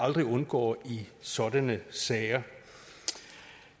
aldrig undgår i sådanne sager